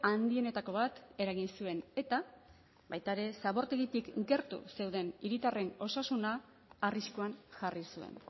handienetako bat eragin zuen eta baita ere zabortegitik gertu zeuden hiritarren osasuna arriskuan jarri zuen